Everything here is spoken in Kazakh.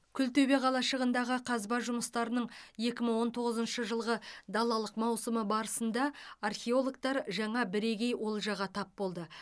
күлтөбе қалашығындағы қазба жұмыстарының екі мың он тоғызыншы жылғы далалық маусымы барысында археологтар жаңа бірегей олжаға тап болды